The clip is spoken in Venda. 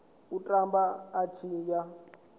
u tamba a tshi ya